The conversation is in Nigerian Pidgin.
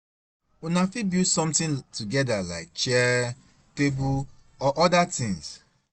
Una fit build something together like chair, table or oda things